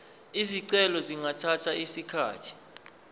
izicelo zingathatha isikhathi